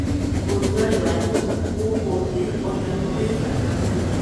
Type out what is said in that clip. Urugarĩ wa nyũmba gũkũ thĩ o naguo wĩ bata mũno.